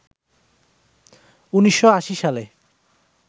১৯৮০ সালে